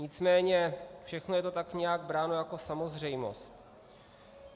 Nicméně všechno je to tak nějak bráno jako samozřejmost.